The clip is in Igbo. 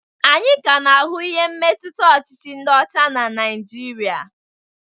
Anyị ka na-ahụ ihe mmetụta ọchịchị ndị ọcha na Naịjirịa.